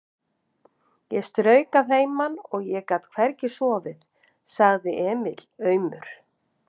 Ég strauk að heiman og ég get hvergi sofið, sagði Emil aumur.